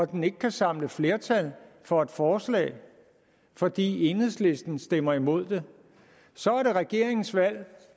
den ikke kan samle flertal for et forslag fordi enhedslisten stemmer imod det så er det regeringens valg